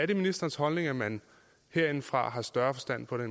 det ministerens holdning at man herindefra har større forstand på det